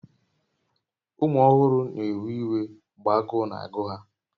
Ụmụ ọhụrụ na-ewe iwe mgbe agụụ na-agụ ha